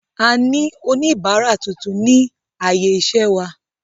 A ní oníbárà tuntun ni ààyè iṣẹ́ wa.